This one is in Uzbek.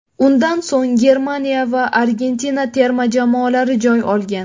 Undan so‘ng Germaniya va Argentina terma jamoalari joy olgan.